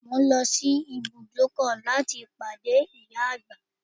Mo ń lọ sí ibùdókọ̀ láti pàdé ìyá àgbà